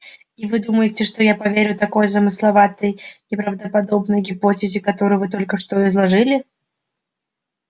и вы думаете что я поверю такой замысловатой неправдоподобной гипотезе которую вы только что изложили